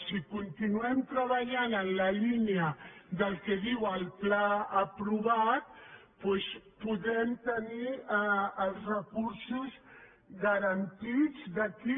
si continuem treballant en la línia del que diu el pla aprovat doncs podem tenir els recursos garantits d’aquí